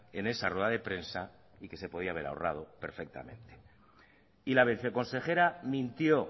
en esa rueda de prensa y que se podía haber ahorrado perfectamente y la vice consejera mintió